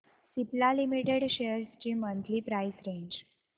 Cipla limited shares ची monthly price range